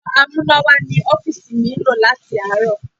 Ẹ̀rọ amúnáwá ní ọ́fíìsì mi ń lò láti àárọ̀.